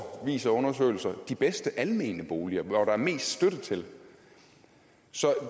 viser undersøgelser de bedste almene boliger som der er mest støtte til så